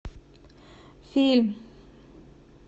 фильм